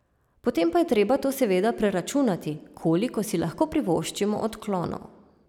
Potem pa je treba to seveda preračunati, koliko si lahko privoščimo odklonov.